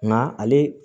Nka ale